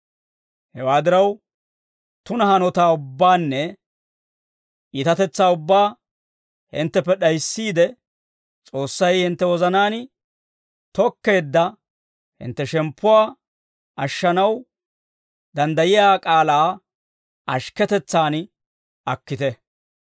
Hewaa diraw, tuna hanotaa ubbaanne iitatetsaa ubbaa hintteppe d'ayissiide, S'oossay hintte wozanaan tookkeedda hintte shemppuwaa ashshanaw danddayiyaa k'aalaa ashikketetsan akkite.